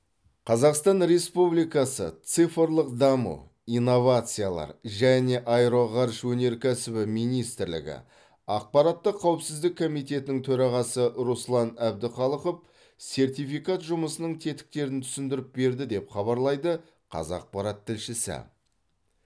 қазақстан республикасы цифрлық даму инновациялар және аэроғарыш өнеркәсібі министрлігі ақпараттық қауіпсіздік комитетінің төрағасы руслан әбдіқалықов сертификат жұмысының тетіктерін түсіндіріп берді деп хабарлайды қазақпарат тілшісі